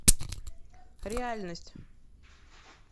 реальность